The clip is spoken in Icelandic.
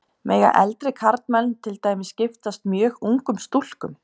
Mega eldri karlmenn til dæmis giftast mjög ungum stúlkum?